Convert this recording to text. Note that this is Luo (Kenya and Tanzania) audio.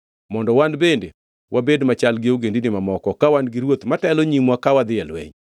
Mondo wan bende wabed machal gi ogendini mamoko, ka wan gi ruoth matelo nyimwa ka wadhi e lweny.”